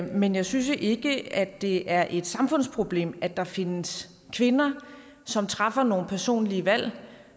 men jeg synes ikke at det er et samfundsproblem at der findes kvinder som træffer nogle personlige valg